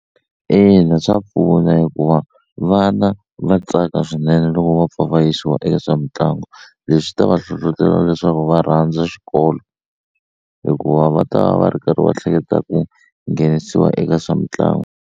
Ina swa pfuna hikuva vana va tsaka swinene loko va pfa va yisiwa eka swa mitlangu leswi ta va hlohlotela leswaku va rhandza xikolo hikuva va ta va va ri karhi va hleketa ku nghenisiwa eka swa mitlangu.